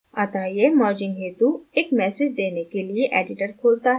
अतः यह merging हेतु एक message देने के लिए editor खोलता है